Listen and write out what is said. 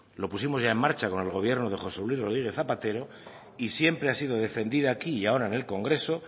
lo pusimos ya en marcha con el gobierno de josé luis rodríguez zapatero y siempre ha sido defendida aquí y ahora en el congreso